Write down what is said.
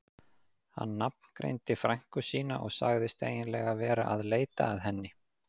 Hann nafngreindi frænku sína og sagðist eiginlega vera að leita að henni.